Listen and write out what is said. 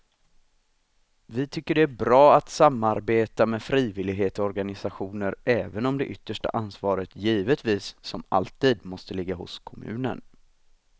Vi tycker att det är bra att samarbeta med frivillighetsorganisationer även om det yttersta ansvaret givetvis som alltid måste ligga hos kommunen.